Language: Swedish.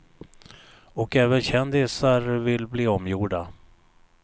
Och även kändisar vill bli omgjorda.